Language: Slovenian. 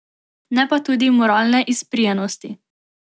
Ne pa tudi moralne izprijenosti.